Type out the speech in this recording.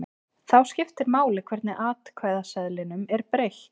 Þá skiptir máli hvernig atkvæðaseðlinum er breytt.